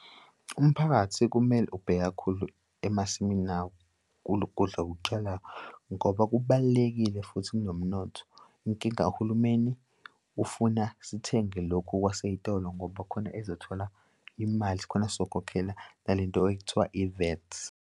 Umphakathi kumele ubheke kakhulu emasimini awo kulo kudla okutshalwayo, ngoba kubalulekile futhi kunomnotho. Inkinga kahulumeni ufuna sithenge lokhu okwasey'tolo ngoba khona ezothola imali skhona sizokukhokhela nale nto ekuthiwa I-VAT.